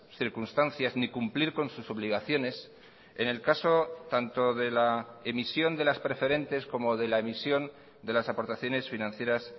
circunstancias ni cumplir con sus obligaciones en el caso tanto de la emisión de las preferentes como de la emisión de las aportaciones financieras